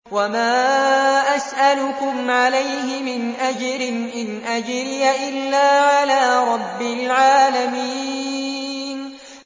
وَمَا أَسْأَلُكُمْ عَلَيْهِ مِنْ أَجْرٍ ۖ إِنْ أَجْرِيَ إِلَّا عَلَىٰ رَبِّ الْعَالَمِينَ